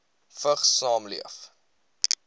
vigs saamleef